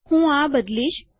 હું આ બદલીશ